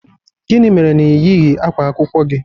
Gịnị mere na ị yighị ákwá akwụkwọ gị?